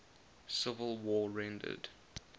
civil war rendered